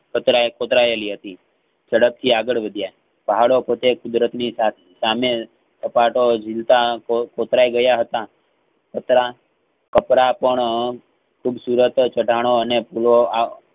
કચડાયે કોતરાયેલી હતી ઝડપથી આગળ વધ્યા પહાડો પોતે કુદરતસા સામે કાપતો ઝીલતા કોતરાય ગયા હતા પાતરા પાતરા પણ~ણઅ ખુબસુરત ચાટાનો અને પુલો આ